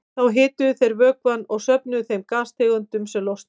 Þá hituðu þeir vökvann og söfnuðu þeim gastegundum sem losnuðu.